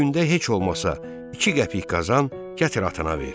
Gündə heç olmasa iki qəpik qazan, gətir atana ver.